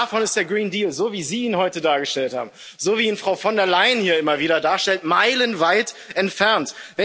Davon ist der Green Deal so, wie Sie ihn heute dargestellt haben, so, wie ihn Frau von der Leyen hier immer wieder darstellt, meilenweit entfernt.